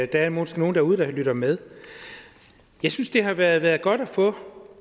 der er måske nogle derude der lytter med jeg synes det har været godt at få